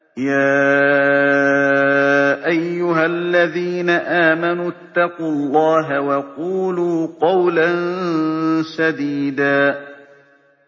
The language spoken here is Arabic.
يَا أَيُّهَا الَّذِينَ آمَنُوا اتَّقُوا اللَّهَ وَقُولُوا قَوْلًا سَدِيدًا